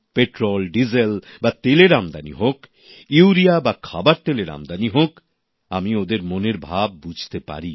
petrol diesel বা তেলের আমদানি হোক ইউরিয়া বা ভোজ্য তেলের আমদানি হোক আমি ওদের মনের ভাব বুঝতে পারি